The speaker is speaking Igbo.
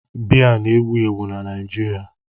Biya na-ewu ewu n'Naịjirịa.